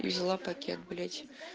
взяла пакет блять